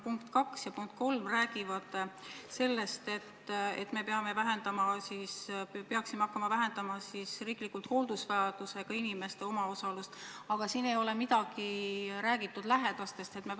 Punkt 2 ja punkt 3 räägivad sellest, et me peaksime riigina hakkama vähendama hooldusvajadusega inimeste omaosalust, aga siin ei ole midagi räägitud lähedastest?